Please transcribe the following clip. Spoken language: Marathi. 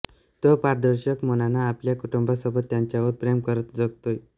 तो पारदर्शक मनानं आपल्या कुटुंबासोबत त्यांच्यावर प्रेम करत जगतोय